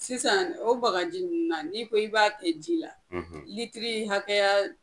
Sisan o bagaji nunnu na n'i ko i b'a kɛ ji la, litirii hakɛya